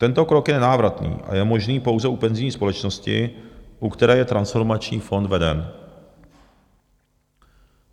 Tento krok je nenávratný a je možný pouze u penzijní společnosti, u které je transformační fond veden.